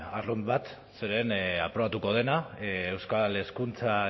arrunt bat zeren aprobatuko dena euskal hezkuntza